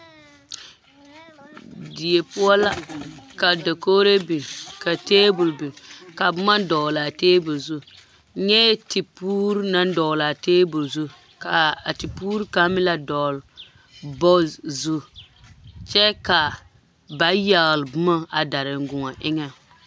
Die poɔ la ka dakogro biŋ ka tabole biŋ ka boma dɔglaa tabole zu nyɛɛ tipuuri naŋ dɔglaa tabol zu kaa a tipuuri kaŋ meŋ la dɔɔle bɔɔd o zu kyɛ ka ba yagle boma a dariŋguoɔ eŋɛŋ.